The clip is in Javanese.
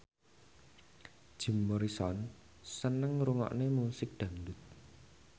Jim Morrison seneng ngrungokne musik dangdut